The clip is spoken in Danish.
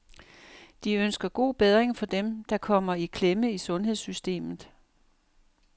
De ønsker god bedring for dem der kommer i klemme i sundhedssystemet.